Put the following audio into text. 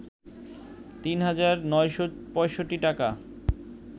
৩ হাজার ৯৬৫ টাকা